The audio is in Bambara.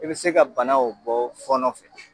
I be se ka bana o bɔ fɔnɔ fɛ